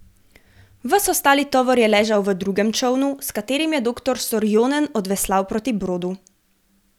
Ves ostali tovor je ležal v drugem čolnu, s katerim je doktor Sorjonen odveslal proti brodu.